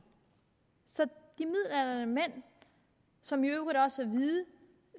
så de midaldrende mænd som i øvrigt også er hvide